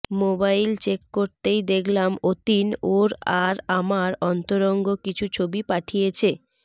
mobile check করতেই দেখলাম অতীন ওর আর আমার অন্তরঙ্গ কিছু ছবি পাঠিয়েছে